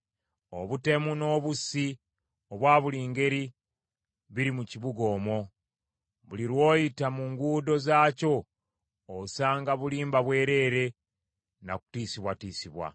Obutemu n’obussi obwa buli ngeri biri mu kibuga omwo. Buli lw’oyita mu nguudo zaakyo osanga bulimba bwereere na kutiisibwatiisibwa.